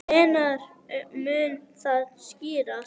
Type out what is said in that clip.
Hvenær mun það skýrast?